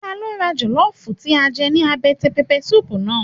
Ta ló ra jọlọfu tí a jẹ ní àbẹ́tẹ̀ pẹpẹ suupu náà?